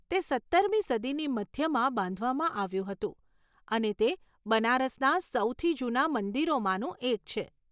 તે સત્તરમી સદીની મધ્યમાં બાંધવામાં આવ્યું હતું અને તે બનારસના સૌથી જૂના મંદિરોમાંનું એક છે.